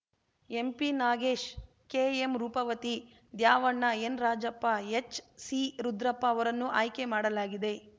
ಎಂಪಿನಾಗೇಶ್‌ ಕೆಎಂರೂಪವತಿ ದ್ಯಾವಣ್ಣ ಎನ್‌ರಾಜಪ್ಪಎಚ್‌ಸಿರುದ್ರಪ್ಪ ಅವರನ್ನು ಆಯ್ಕೆ ಮಾಡಲಾಗಿದೆ